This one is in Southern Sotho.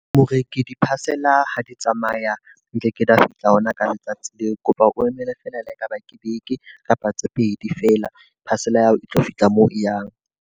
Moreki di-parcel-a ha di tsamaya, nkeke di a fihla hona ka letsatsi leo. Ke kopa o emele feela le ha ekaba ke beke kapa tse pedi feela. Parcel-a ya hao e tlo fihla moo e yang.